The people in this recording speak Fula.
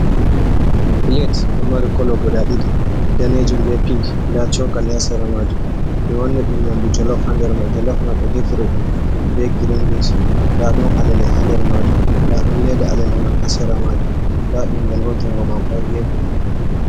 Pilet do mari kolo guɗa ɗiɗi danejum be pink nda chokali ha sera maju be wanni ɗum nyamdu jolof ha nder majum jolof mai ɓe defriɗum be girin bins nɗa don alele ha nder maju nda don leda alele man ha sera maju nda bingel bo jungo mako ha gefe.